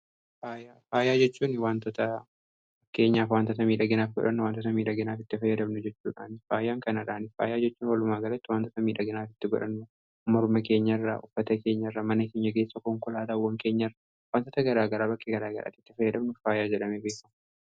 faayaa jechuun wantoota fakkeenyaaf wantota miidhaginaaf godhannu, wantoota miidhaginaaf itti fayyadamnu jechuudhaa. faayaan kanaadhaan faayaa jechuun walumaa galatti waantota miidhaginaaf godhannu morma keenya irra, uffata keenya irra mana keenya irra, konkolaataawwan keenya irra wantoota garaagaraa bakkee garaa garaatti itti fayyadamnu faayaa jadhamee beekama.